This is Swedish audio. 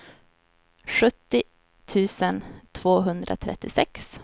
sjuttio tusen tvåhundratrettiosex